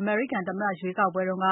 အမေရိကန်သမ္မတ ရွေးကောက်ပွဲတုန်းက